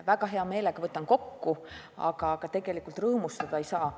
Väga hea meelega võtan need teemad kokku, aga tegelikult rõõmustada ei saa.